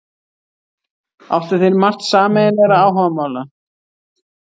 Áttu þeir margt sameiginlegra áhugamála.